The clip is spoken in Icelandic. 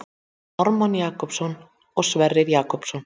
Ármann Jakobsson og Sverrir Jakobsson.